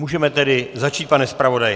Můžeme tedy začít, pane zpravodaji.